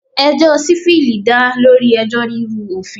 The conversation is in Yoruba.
Ẹjọ́ civil dá lórí ẹjọ́ rírú òfin.